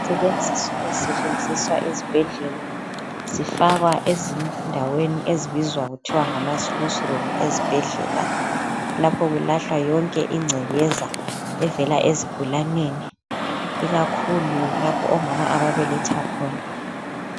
ezisetshenziswa esibhedela zifakwa ezindaweni ezibizwa kuthiwa ngamaslusi room esibhedlela lapha kulahlwa yonke incekeza evela ezigulaneni ikakhulu lapho omama ababeletha khona